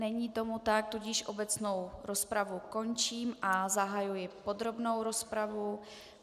Není tomu tak, tudíž obecnou rozpravu končím a zahajuji podrobnou rozpravu.